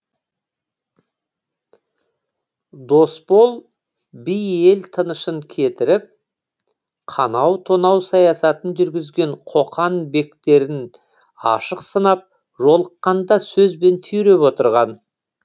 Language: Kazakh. досбол би ел тынышын кетіріп қанау тонау саясатын жүргізген қоқан бектерін ашық сынап жолыққанда сөзбен түйреп отырған